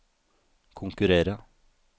konkurrere